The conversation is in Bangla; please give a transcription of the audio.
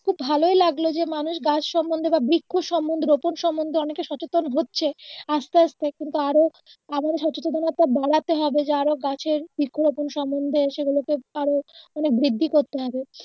খুব ভালোই লাগলো যে মানুষ গাছ সম্বন্ধে বা বৃক্ষ সম্বন্ধে রোপন সম্বন্ধে অনেকে সচেতন হচ্ছে আস্তে আস্তে কিন্তু আরো আবারো সচেতনতা বাড়াতে হবে যে আরো গাছের বৃক্ষ রোপন সম্বন্ধে সেগুলো কে আরো মানে আরো বৃদ্ধি করতে হবে